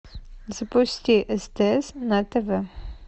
запусти стс на тв